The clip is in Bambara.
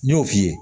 N y'o f'i ye